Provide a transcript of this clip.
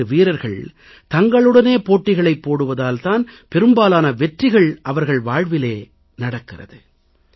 விளையாட்டு வீரர்கள் தங்களுடனே போட்டிகளைப் போடுவதால் தான் பெரும்பாலான வெற்றிகள் அவர்கள் வாழ்விலே நடக்கிறது